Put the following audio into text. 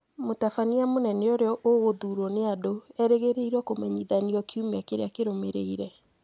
Mũtabania mũnene ũrĩa ũgũthuurwo nĩ andũ erĩgĩrĩirũo kũmenyithanio kiumia kĩrĩa kĩrũmĩrĩire.